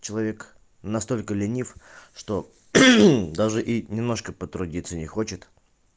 человек настолько ленив что даже и немножко потрудиться не хочет